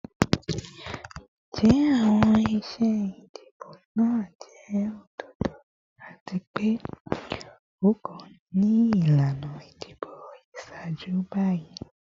Njẹ awọn iṣe idibo naa jẹ ododo ati pe o kan ni ilana idibo iṣaaju bi?